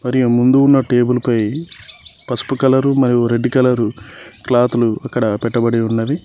మరియు ముందు ఉన్న టేబుల్ పై పసుపు కలరు మరియు రెడ్ కలరు క్లాతు లు అక్కడ పెట్టబడి ఉన్నవి.